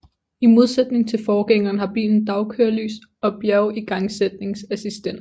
I modsætning til forgængeren har bilen dagkørelys og bjergigangsætningsassistent